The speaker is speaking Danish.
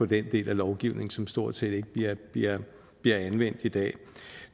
den del af lovgivningen som stort set ikke bliver bliver anvendt i dag